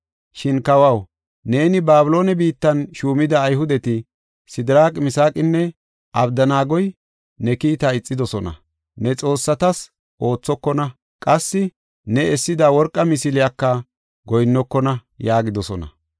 Shin kawaw, neeni Babiloone biittan shuumida Ayhudeti, Sidiraaqi, Misaaqinne Abdanaagoy ne kiita ixidosona. Ne xoossatas oothokona; qassi ne essida worqa misiliyaka goyinnokona” yaagidosona.